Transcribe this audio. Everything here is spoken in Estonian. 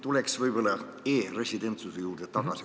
Tulen veel kord tagasi e-residentsuse juurde.